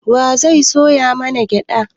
Wa zai soya mana gyaɗa?